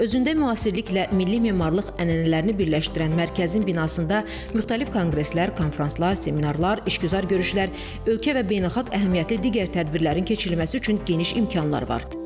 Özündə müasirliklə milli memarlıq ənənələrini birləşdirən mərkəzin binasında müxtəlif konqreslər, konfranslar, seminarlar, işgüzar görüşlər, ölkə və beynəlxalq əhəmiyyətli digər tədbirlərin keçirilməsi üçün geniş imkanlar var.